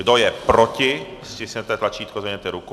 Kdo je proti, stiskněte tlačítko, zvedněte ruku.